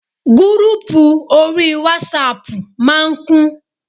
Gúrúpù orí wásapù ma ń kún.